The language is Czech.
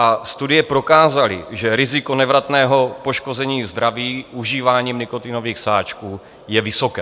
A studie prokázaly, že riziko nevratného poškození zdraví užíváním nikotinových sáčků je vysoké.